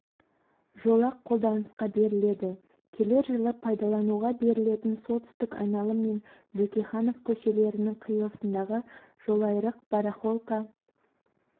жолақ қолданысқа беріледі келер жылы пайдалануға берілетін солтүстік айналым мен бөкейханов көшелерінің қиылысындағы жолайрық барахолка